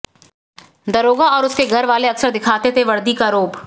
दारोगा और उसके घर वाले अक्सर दिखाते थे वर्दी का रौब